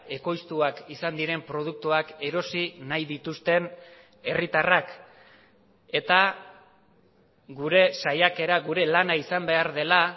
ekoiztuak izan diren produktuak erosi nahi dituzten herritarrak eta gure saiakera gure lana izan behar dela